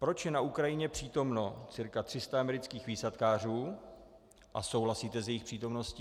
Proč je na Ukrajině přítomno cca 300 amerických výsadkářů a souhlasíte s jejich přítomností?